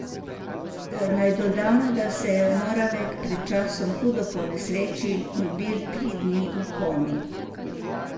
Naj dodamo, da se je Moravek pred časom hudo ponesrečil in bil tri dni v komi.